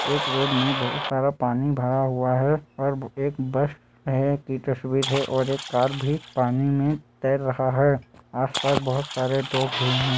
एक रोड में बहुत सारा पानी भरा हुआ है और एक बस है की तस्वीर है और एक कार भी पानी मे तैर रहा है आस पास बहुत सारे लोग भी हैं।